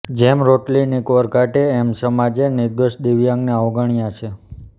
જેમ રોટલીની કોર કાઢે એમ સમાજે નિર્દોષ દિવ્યાંગને અવગણ્યા છે